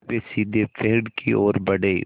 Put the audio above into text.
वे सीधे पेड़ की ओर बढ़े